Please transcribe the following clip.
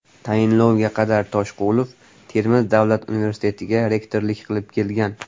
Tayinlovga qadar Toshqulov Termiz davlat universitetiga rektorlik qilib kelgan.